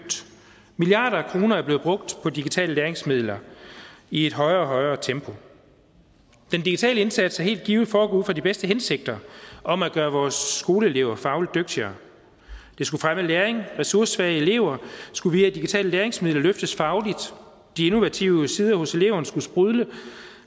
milliarder af kroner er blevet brugt på digitale læringsmidler i et højere og højere tempo den digitale indsats er helt givet foregået ud fra de bedste hensigter om at gøre vores skoleelever fagligt dygtigere det skulle fremme læring ressourcesvage elever skulle via digitale læringsmidler løftes fagligt de innovative sider hos eleverne skulle sprudle